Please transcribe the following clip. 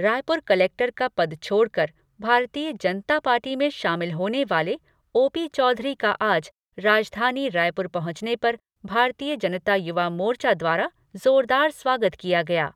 Raipur collector का पद छोड़कर भारतीय जनता पार्टी में शामिल होने वाले ओ पी चौधरी का आज राजधानी रायपुर पहुंचने पर भारतीय जनता युवा मोर्चा द्वारा जोरदार स्वागत किया गया।